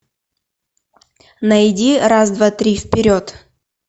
найди раз два три вперед